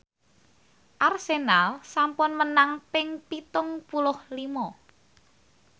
Arsenal sampun menang ping pitung puluh lima